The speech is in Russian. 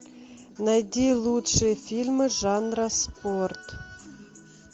найди лучшие фильмы жанра спорт